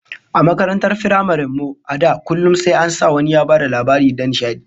A makarantar firamaren mu, a da, kullum sai an sa wani ya bada labari na nishadi